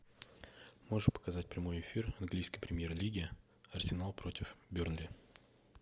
можешь показать прямой эфир английской премьер лиги арсенал против бернли